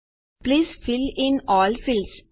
please fill in all fields